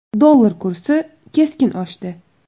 Dollar kursi keskin oshdi.